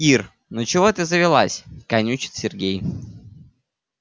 ира ну чего ты завелась канючит сергей